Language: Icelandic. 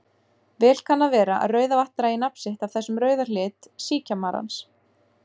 Vel kann að vera að Rauðavatn dragi nafn sitt af þessum rauða lit síkjamarans.